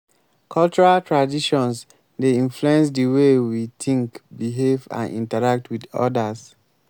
cultural traditions dey influence di way we think behave and interact with odas.